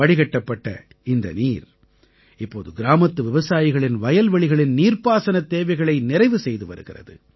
வடிகட்டப்பட்ட இந்த நீர் இப்போது கிராமத்து விவசாயிகளின் வயல்வெளிகளின் நீர்பாசனத் தேவைகளை நிறைவு செய்து வருகிறது